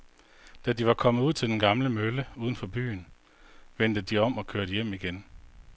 Da de var kommet ud til den gamle mølle uden for byen, vendte de om og kørte hjem igen.